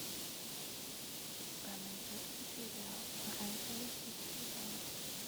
у тебя найдется сериал оранжевый хит сезона